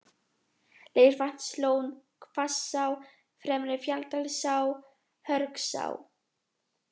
Leirvatnslón, Hvassá, Fremri-Fjalldalsá, Hörgsá